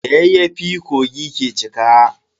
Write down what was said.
Da yayyafi kogi ke cika.